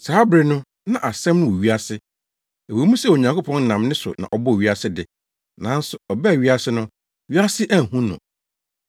Saa bere no na Asɛm no wɔ wiase. Ɛwɔ mu sɛ Onyankopɔn nam ne so na ɔbɔɔ wiase de, nanso ɔbaa wiase no, wiase anhu no.